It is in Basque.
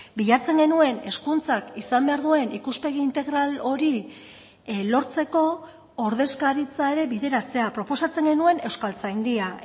bilatzen genuen hezkuntzak izan behar duen ikuspegi integral hori lortzeko ordezkaritza ere bideratzea proposatzen genuen euskaltzaindia